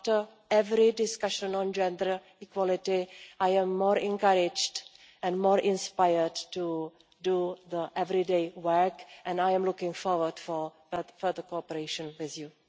After every discussion on gender equality, I am more encouraged and more inspired to do the everyday work. I am looking forward to further cooperation with you.